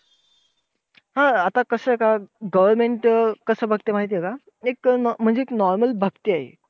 हा आता कसंय का government अं कसं बघतंय माहितीये का, एक म्हणजे normal बघतीये.